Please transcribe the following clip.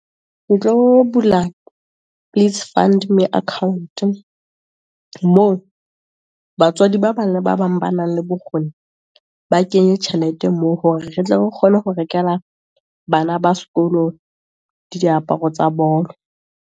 Bula please fund me account-e, moo batswadi ba bang ba bang ba nang le bokgoni, ba kenye tjhelete moo, hore re tle re kgone ho rekela bana ba sekolo, diaparo tsa bolo.